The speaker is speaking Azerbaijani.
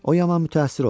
O yaman mütəəssir olmuşdu.